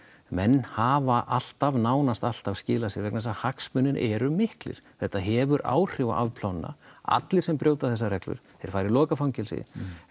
menn hafa alltaf nánast alltaf skilað sér vegna þess að hagsmunir eru miklir þetta hefur áhrif á afplánunina allir sem brjóta þessar reglur þeir fara í lokað fangelsi